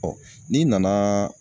n'i nana